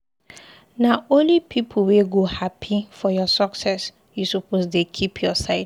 Na only pipu wey go hapi for your success you suppose dey keep your side.